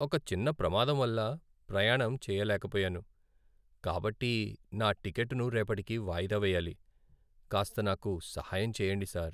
ఒక చిన్న ప్రమాదం వల్ల ప్రయాణం చేయలేకపోయాను, కాబట్టి నా టికెట్టును రేపటికి వాయిదా వేయాలి. కాస్త నాకు సహాయం చెయ్యండి సార్.